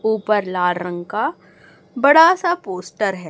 ऊपर लाल रंग का बड़ा सा पोस्टर है।